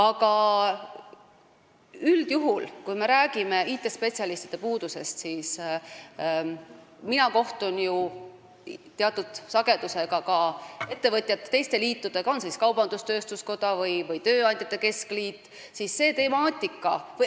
Aga kui me räägime IT-spetsialistide puudusest, siis võin öelda, et mina kohtun ju teatud sagedusega ka teiste liitudega, kas siis kaubandus-tööstuskoja või tööandjate keskliiduga.